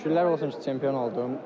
Şükürlər olsun çempion oldum.